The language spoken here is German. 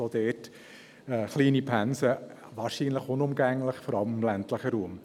Auch dort sind kleine Pensen wahrscheinlich unumgänglich, vor allem im ländlichen Raum.